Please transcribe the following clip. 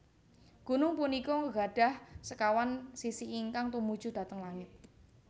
Gunung punika gadhah sekawan sisi ingkang tumuju dhateng langit